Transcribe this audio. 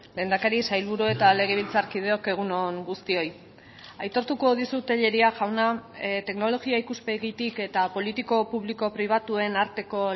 lehendakari sailburu eta legebiltzarkideok egun on guztioi aitortuko dizut tellería jauna teknologia ikuspegitik eta politiko publiko pribatuen arteko